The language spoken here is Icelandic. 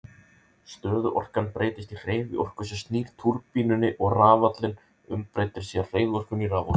Stöðuorkan breytist í hreyfiorku sem snýr túrbínunni og rafallinn umbreytir síðan hreyfiorkunni í raforku.